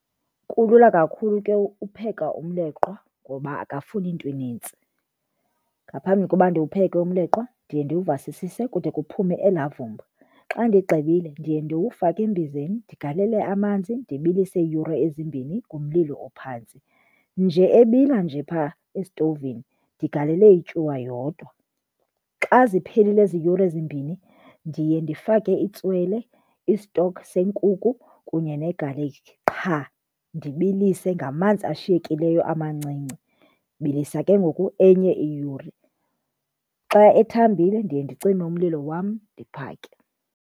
Kulula kakhulu ke upheka umleqwa ngoba akafuni nto inintsi. Ngaphambi koba ndiwupheke umleqwa ndiye ndiwuvasisise kude kuphume elaa vumba. Xa ndigqibile ndiye ndiwufake embizeni ndigalele amanzi ndibilise iiyure ezimbini kumlilo ophantsi, nje ebila nje phaa esitovini ndigalele ityuwa yodwa. Xa ziphelile ezi yure zimbini ndiye ndifake itswele, i-stock senkukhu, kunye negalikhi qha, ndibilise ngamanzi ashiyekileyo amancinci, ndibilisa ke ngoku enye iyure. Xa ethambileyo ndiye ndicime umlilo wam ndiphake.